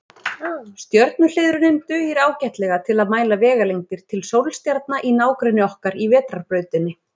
Stjörnuhliðrunin dugir ágætlega til að mæla vegalengdir til sólstjarna í nágrenni okkar í Vetrarbrautinni.